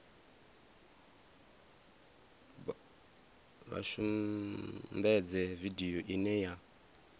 vha sumbedze vidio ine ya